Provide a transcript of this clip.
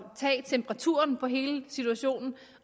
tage temperaturen på hele situationen